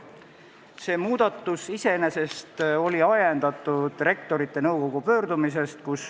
See muudatus oli ajendatud Rektorite Nõukogu pöördumisest.